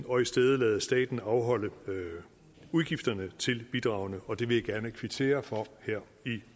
og i stedet lade staten afholde udgifterne til bidragene og det vil jeg gerne kvittere for her i